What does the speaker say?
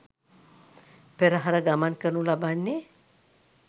පෙරහර ගමන් කරනු ලබන්නේ